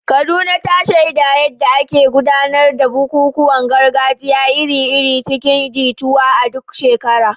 Kaduna, ta shaida yadda ake gudanar da bukukuwan gargajiya iri-iri cikin jituwa a duk shekara.